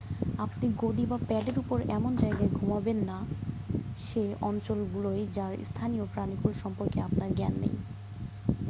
আপনি গদি বা প্যাডের ওপর এমন জায়গায় ঘুমাবেন না সে অঞ্চলগুলোয় যার স্থানীয় প্রানীকুল সম্পর্কে আপনার জ্ঞান নেই